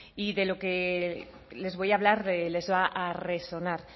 y de lo que les voy a hablar les va a resonar